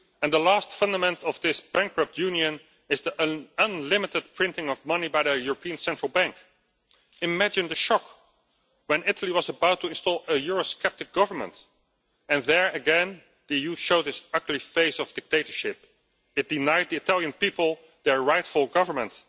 The last fundament off this bankrupt union is the unlimited printing of money by the European Central Bank. Imagine the shock when Italy was about to install a eurosceptic government, and there again the EU showed its ugly face of dictatorship. It denied the Italian people their rightful government.